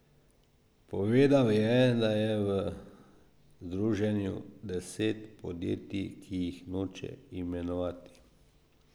Povedal je, da je v združenju deset podjetij, ki jih noče imenovati.